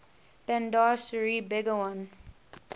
bandar seri begawan